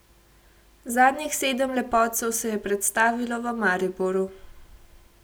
Zadnjih sedem lepotcev se je predstavilo v Mariboru.